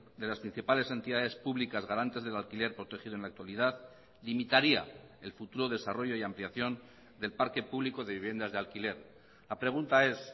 de las principales entidades públicas garantes del alquiler protegido en la actualidad limitaría el futuro desarrollo y ampliación del parque público de viviendas de alquiler la pregunta es